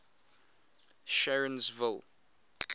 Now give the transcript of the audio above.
sharonsville